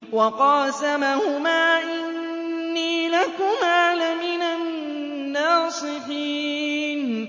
وَقَاسَمَهُمَا إِنِّي لَكُمَا لَمِنَ النَّاصِحِينَ